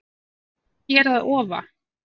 Hér að ofa